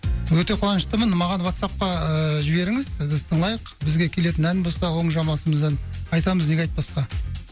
өте қуанаштымын маған ватсапқа ыыы жіберіңіз біз тыңдайық бізге келетін ән болса оң жамбасымыздан айтамыз неге айтпасқа